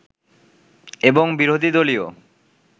এবং বিরোধী দলীয়